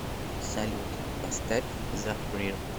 салют поставь зафрир